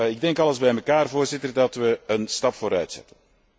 Ik denk alles bij elkaar, Voorzitter, dat we een stap vooruit zetten.